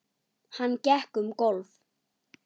Hann gekk um gólf.